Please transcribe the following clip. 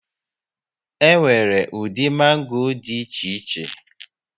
E nwere ụdị mango dị iche iche